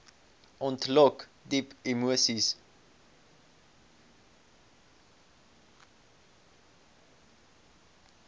ontlok diep emoseis